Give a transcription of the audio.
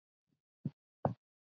Það hefur ekki dugað til.